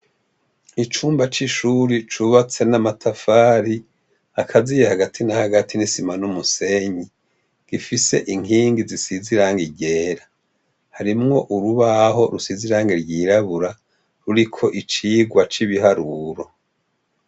Icumba c'ishuri cubatse n'amatafari akaziye hagati na hagati n'isima n'umusenyi gifise inkingi zisize irangi ryera harimwo urubaho rusize irange ryirabura ruriko icigwa c'ibiharuro.